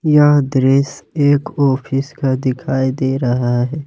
यहां दृश्य एक ऑफिस का दिखाई दे रहा है।